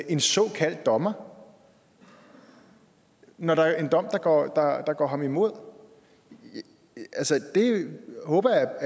en såkaldt dommer når der er en dom der går ham imod jeg håber